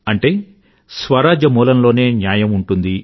అంటే స్వరాజ్య మూలంలోనే న్యాయం ఉంటుంది